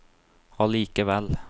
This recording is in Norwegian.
allikevel